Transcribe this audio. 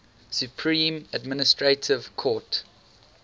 supreme administrative court